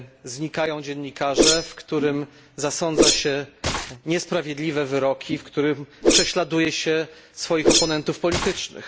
znikają dziennikarze, w którym zasądza się niesprawiedliwe wyroki, w którym prześladuje się oponentów politycznych.